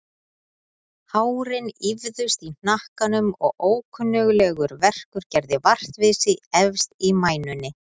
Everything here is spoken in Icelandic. Hárin ýfðust í hnakkanum og ókunnuglegur verkur gerði vart við sig efst í mænunni.